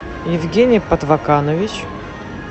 евгений подваканович